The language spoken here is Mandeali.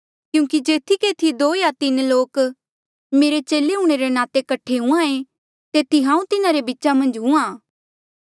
क्यूंकि जेथी केथी दो या तीन लोक मेरे चेले हूंणे रे नाते कठे हुंहां ऐें तेथी हांऊँ तिन्हारे बीचा मन्झ हुंहां